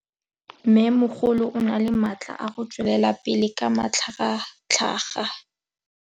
Mmêmogolo o na le matla a go tswelela pele ka matlhagatlhaga.